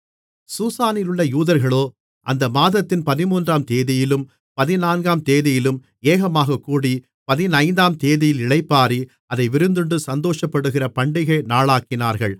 சூசானிலுள்ள யூதர்களோ அந்த மாதத்தின் பதிமூன்றாந்தேதியிலும் பதினான்காம்தேதியிலும் ஏகமாகக்கூடி பதினைந்தாந்தேதியில் இளைப்பாறி அதை விருந்துண்டு சந்தோஷப்படுகிற பண்டிகை நாளாக்கினார்கள்